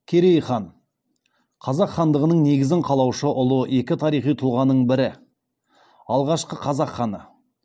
керей хан қазақ хандығының негізін қалаушы ұлы екі тарихи тұлғаның бірі алғашқы қазақ ханы